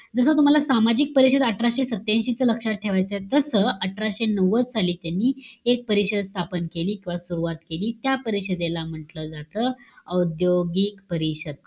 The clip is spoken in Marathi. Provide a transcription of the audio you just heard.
जसं, तूम्हाला सामाजिक परिषद अठराशे सत्यांशी च लक्षात ठेवायचंय, तसं, अठराशे नव्वद साली, त्यांनी एक परिषद स्थापन केली किंवा सुरवात केली. त्या परिषदेला म्हंटल जात, औद्योगिक परिषद.